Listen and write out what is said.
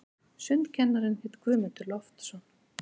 Sundkennarinn hét Guðmundur Loftsson.